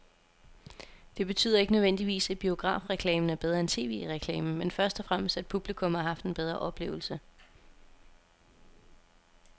Det betyder ikke nødvendigvis, at biografreklamen er bedre end tv-reklamen, men først og fremmest at publikum har haft en bedre oplevelse.